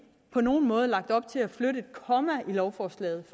på nogen måde lagt op til at flytte et komma i lovforslaget